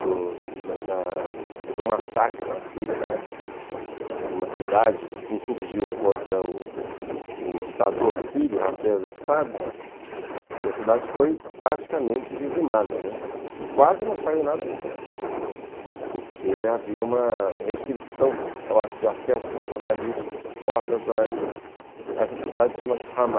Houve um massacre na Síria, na época, de uma cidade que se insurgiu contra o ditador sírio, o Hafez Assad, e a cidade foi praticamente dizimada, né, e quase não saiu nada na imprensa, porque havia uma restrição de acesso de jornalistas, o acesso de jornalistas a essa cidade chama-se Hamas.